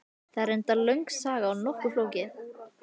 Þetta er reyndar löng saga og nokkuð flókin.